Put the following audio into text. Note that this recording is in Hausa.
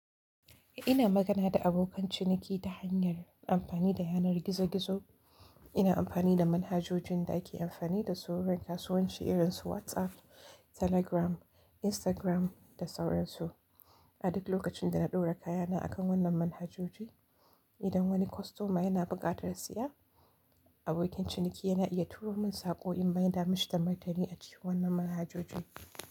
Ina magana da abokan ciniki ta hanyar amfani dayanar gizo gizo ina amfani da manhajoji da ake amfani da su wurin kasuwanci irin su WhatsApp, Telegram, Instagram da sauransu. A duk lokacin da na ɗora kayana a kan wannan manhajoji, idan wani kostoma yana buƙatar si ya, abokin ciniki yana iya turo min saƙo in mai damu shi da martani a cikin wannan manhajoji.